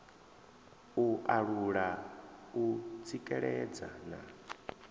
u alula u tsikeledza na